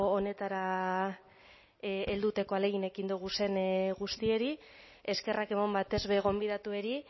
honetara helduteko ahalegin egin doguzen guztieri eskerrak eman batez be gonbidatueri